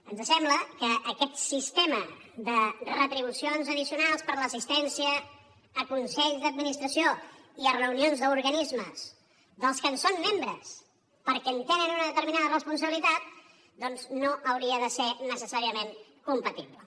ens sembla que aquest sistema de retribucions addicionals per l’assistència a consells d’administració i a reunions d’organismes de què són membres perquè tenen una determinada responsabilitat no hauria de ser necessàriament compatible